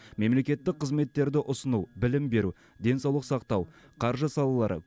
мемлекеттік қызметтерді ұсыну білім беру денсаулық сақтау қаржы салалары